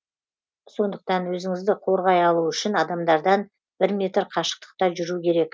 сондықтан өзіңізді қорғай алу үшін адамдардан бір метр қашықтықта жүру керек